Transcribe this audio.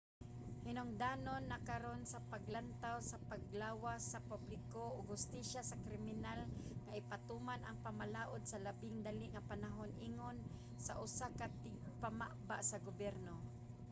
"hinungdanon na karon sa panglantaw sa panglawas sa publiko ug hustisya sa kriminal nga ipatuman ang pamalaod sa labing dali nga panahon ingon sa usa ka tigpamaba sa gobyerno